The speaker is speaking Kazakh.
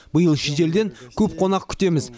биыл шетелден көп қонақ күтеміз